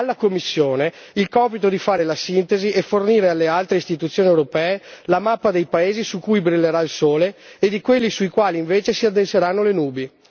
Alla Commissione spetterà il compito di fare la sintesi e fornire alle altre istituzioni europee la mappa dei paesi su cui brillerà il sole e di quelli sui quali invece si addenseranno le nubi.